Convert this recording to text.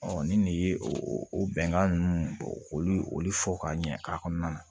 ni nin de ye o bɛnkan nunnu olu olu fɔ ka ɲɛ a kɔnɔna na